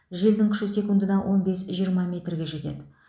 желдің күші секундына он бес жиырма метрге жетеді